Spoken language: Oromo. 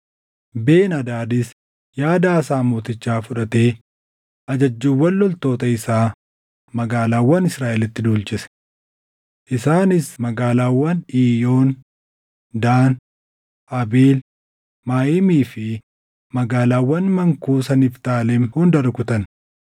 Ben-Hadaadis yaada Aasaa mootichaa fudhatee ajajjuuwwan loltoota isaa magaalaawwan Israaʼelitti duulchise. Isaanis magaalaawwan Iiyoon, Daan, Abeel Maayimii fi magaalaawwan mankuusa Niftaalem hunda rukutan.